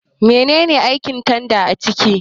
Mene ne aikin tanda a kicin?